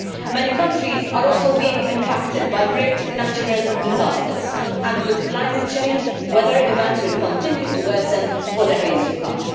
Many countries are also being impacted by great natural disasters and with climate change, weather events will continue to worsen for decades to come.